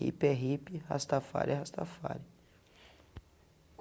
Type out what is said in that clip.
hippie é hippie, Rastafari é Rastafari.